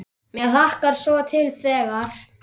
Mig hlakkar svo til þegar.